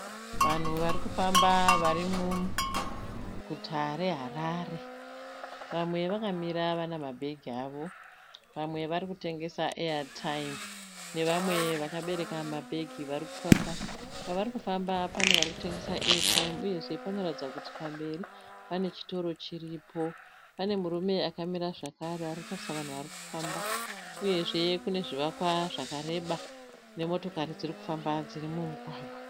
Vanhu vari kufamba vari muguta reHarare. Vamwe vakamira vana mabhegi avo. Vamwe vari kutengesa eyataimu nevamwe vakabereka mabhegi vari kufamba. Pavari kufamba pane vari kutengesa eyataimu uyezve panoratidza kuti pamberi pane chitoro chiripo. Pane murume akamira zvakare ari kutarisa vanhu vari kufamba. Uyezve kune zvivakwa zvakareba nemotokari dziri kufamba dziri mumugwagwa.